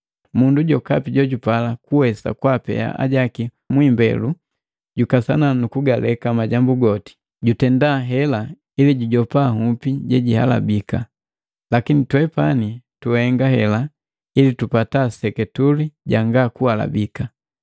Mundu jokapi jojupala kuwesa kwaapea ajaki mwiimbelu jukasana nukugaleka majambu goti. Jutenda hela ili jujopa nhupi jejihalabika! Lakini twepani tuhenga hela ili tupata seketule janga kuhalihika.